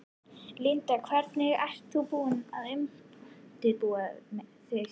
Linda: Hvernig ert þú búin að undirbúa þig?